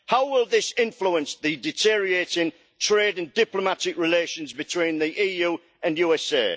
How will this influence the deteriorating trade and diplomatic relations between the EU and USA?